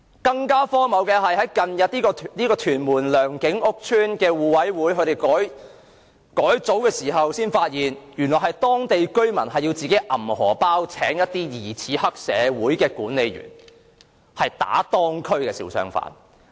更荒謬的是，屯門良景邨互委會在近日改組時發現，原來是當區居民自掏腰包聘請疑似黑社會的管理員來打當區的小商販。